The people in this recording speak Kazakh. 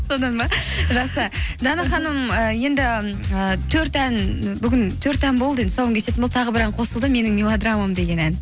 содан ба жақсы дана ханым ііі енді і төрт ән бүгін төрт ән болды енді тұсауын кесетін болды тағы бір ән қосылды менің мелодрамам деген ән